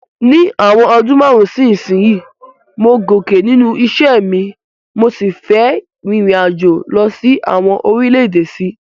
Ní ìwòn odún marun si isínsìnyí, mo gòkè nínú isẹ́ mi, mo si fe ririnajo lo sí àwon orílẹ̀dè sí